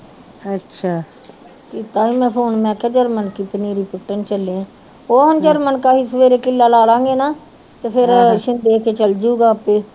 ਅੱਛਾ ਕੀਤਾ ਸੀ ਮੈਂ ਫ਼ੌਨ ਮੈਂ ਕਿਹਾ ਜਰਮਨ ਕੀ ਪਨੀਰੀ ਸੁੱਟਣ ਚੱਲੀਏ ਉਹ ਜਰਮਨ ਕਾ ਹੀ ਸਵੇਰੇ ਕਿੱਲਾ ਲਾ ਲਵਾਂਗੇ ਨਾ ਤੇ ਫਿਰ ਚੱਲ ਜਾਊਗਾ ਆਪੇ ਹੀ